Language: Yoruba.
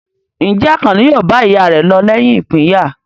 Ǹjẹ́ Àkànní yóò bá ìyá rẹ̀ lọ lẹ́yìn ìpínyà?